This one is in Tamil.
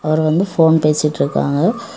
அவர் வந்து போன் பேசிட்டு இருக்காங்க.